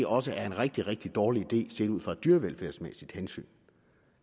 også er en rigtig rigtig dårlig idé set ud fra et dyrevelfærdsmæssigt hensyn